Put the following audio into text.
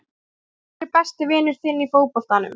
Hver er besti vinur þinn í fótboltanum?